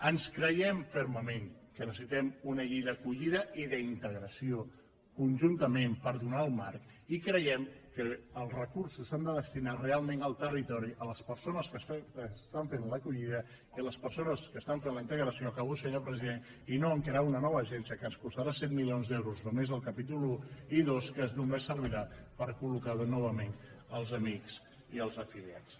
ens creiem fermament que necessitem una llei d’acollida i d’integració conjuntament per donar el marc i creiem que els recursos s’han de destinar realment al territori a les persones que estan fent l’acollida i a les persones que estan fent la integració acabo senyor president i no a crear una nova agència que ens costarà set milions d’euros només el capítol un i dos que només servirà per col·locar novament els amics i els afiliats